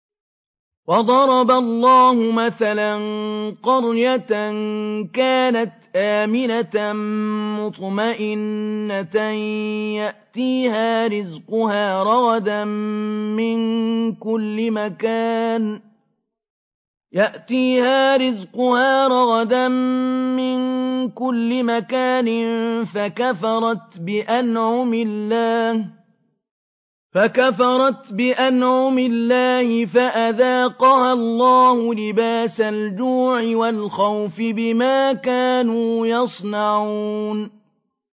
وَضَرَبَ اللَّهُ مَثَلًا قَرْيَةً كَانَتْ آمِنَةً مُّطْمَئِنَّةً يَأْتِيهَا رِزْقُهَا رَغَدًا مِّن كُلِّ مَكَانٍ فَكَفَرَتْ بِأَنْعُمِ اللَّهِ فَأَذَاقَهَا اللَّهُ لِبَاسَ الْجُوعِ وَالْخَوْفِ بِمَا كَانُوا يَصْنَعُونَ